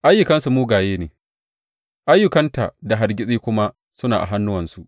Ayyukansu mugaye ne, ayyukan tā da hargitsi kuma suna a hannuwansu.